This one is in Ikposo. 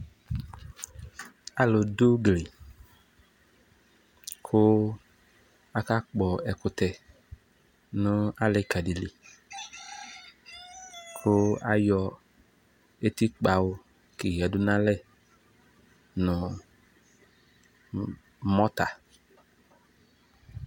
Alʋ dʋ udue kʋ aka kpɔ ɛkʋtɛ nʋ alɩ ka ɖɩ liKʋ ayɔ eti kpwʋ keyǝ dʋ nalɛ nʋ mɔta